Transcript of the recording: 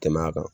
Tɛmɛ a kan